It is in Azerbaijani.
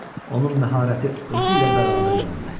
Onun məharəti özü ilə bərabər yandı.